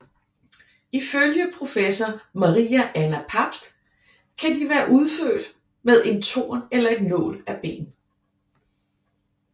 Ifølge professor Maria Anna Pabst kan de være udført med en torn eller en nål af ben